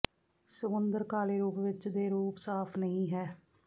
ਸਮੁੰਦਰ ਕਾਲੇ ਰੂਪ ਵਿੱਚ ਦੇ ਰੂਪ ਸਾਫ ਨਹੀ ਹੈ